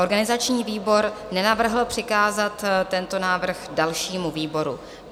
Organizační výbor nenavrhl přikázat tento návrh dalšímu výboru.